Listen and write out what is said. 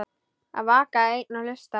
Að vaka einn og hlusta